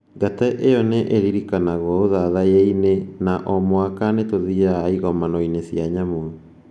Ngate ĩyo nĩ ĩririkanagwo ũthathaiya-inĩ na O mwaka nĩ tũthiaga igomano-inĩ cia nyamũ.